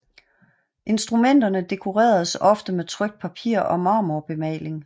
Instrumenterne dekoreredes ofte med trykt papir og marmorbemaling